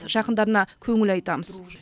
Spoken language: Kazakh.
жақындарына көңіл айтамыз